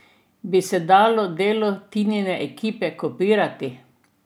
Bi se dalo delo Tinine ekipe kopirati?